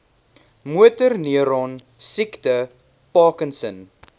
motorneuron siekte parkinson